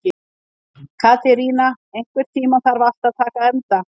Katerína, einhvern tímann þarf allt að taka enda.